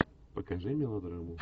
покажи мелодраму